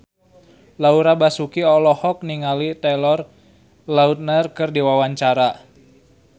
Laura Basuki olohok ningali Taylor Lautner keur diwawancara